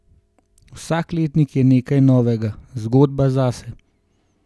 Vsak letnik je nekaj novega, zgodba zase.